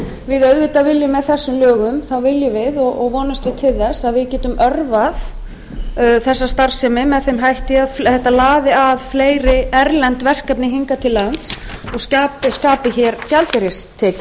við auðvitað viljum við og vonumst til með þessum lögum að við getum örvað þessa starfsemi með þeim hætti að þetta laði að fleiri erlend verkefni hingað til lands og skapi hér gjaldeyristekjur en það er